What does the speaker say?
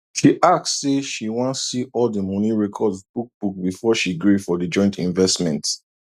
she ask say she wan see all the money records book book before she gree for the joint investment